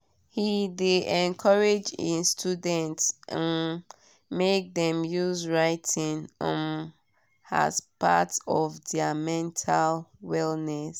he de encourage e students um make dem use writing um as part of their mental wellness.